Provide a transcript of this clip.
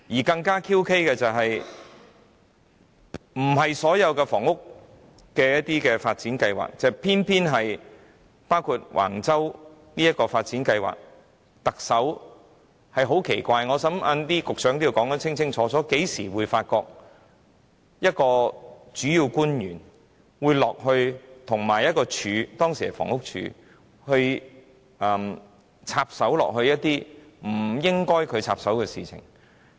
更詭異的是，涉及的不是其他房屋發展計劃，偏偏是橫洲的發展計劃，而特首也十分奇怪，我想局長稍後也須清楚解釋甚麼時候會見到一名主要官員會與一個署級機關——當時是房屋署——插手一些他本身不應該插手的事情？